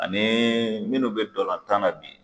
Ani minnu be dolan tan na bi